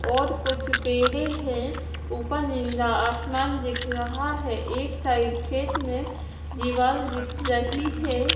और कुछ पेड़े है ऊपर नीला आसमान दिख रहा है एक साइड खेत में दिवाल दिख सही है।